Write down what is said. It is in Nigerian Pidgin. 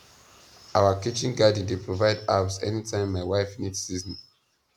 our kitchen garden dey provide herbs anytime my wife need seasoning